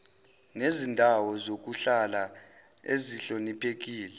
nezindawo zokuhlala ezihloniphekile